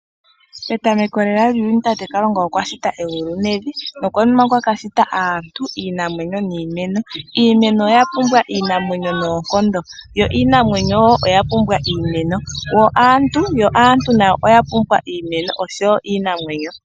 Petameko lela lyuuyuni tate Kalunga okwa shita egulu nevi. Nokonima okwa ka shita aantu, iinamwenyo niimeno. Iimeno oya pumbwa iinamwenyo noonkondo yo iinamwenyo oya pumbwa iimeno, yo aantu nayo oya pumbwa iimeno osho wo iinamwenyo.